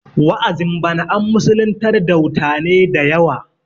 wa'azin bana an musulintar dautane da yawa